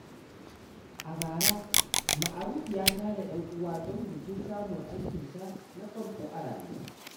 A bara, Ma’aruf ya tara ‘yan uwa don bikin samun aikinsa na farko a rayuwa.